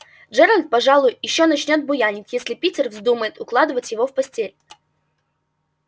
джеральд пожалуй ещё начнёт буянить если питер вздумает укладывать его в постель